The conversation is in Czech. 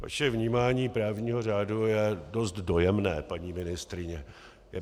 Vaše vnímání právního řádu je dost dojemné, paní ministryně.